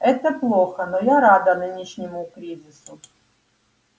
это плохо но я рада нынешнему кризису